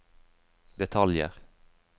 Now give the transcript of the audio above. detaljer